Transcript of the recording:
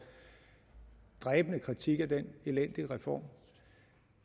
dræbende kritik af den elendige reform